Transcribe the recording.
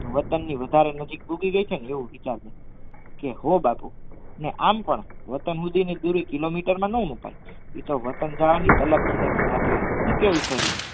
વતનની વધારે નજીક ડૂબી ગઈ છે આવું હો બાપુ ને આમ પણ વતન સુધી ની દૂરી કિલોમીટર નહીં મુકાઇ એ તો વતન જવાની થાતી હોય શું કહેવું છોરી